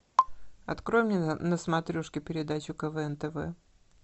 открой мне на смотрешке передачу квн тв